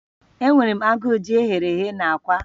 Enwere m agụụ ji eghere eghe na akwa